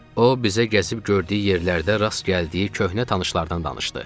O bizə gəzib gördüyü yerlərdə rast gəldiyi köhnə tanışlardan danışdı.